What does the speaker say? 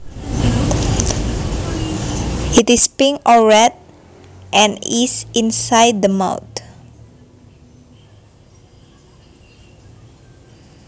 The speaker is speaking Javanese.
It is pink or red and is inside the mouth